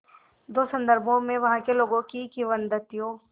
दो संदर्भों में वहाँ के लोगों की किंवदंतियों